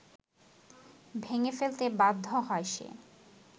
ভেঙে ফেলতে বাধ্য হয় সে